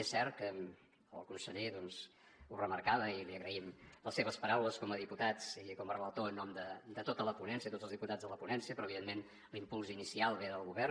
és cert que el conseller doncs ho remarcava i li agraïm les seves paraules com a diputats i com a relator en nom de tota la ponència tots els diputats de la ponència però evidentment l’impuls inicial ve del govern